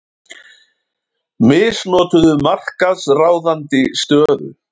Misnotuðu markaðsráðandi stöðu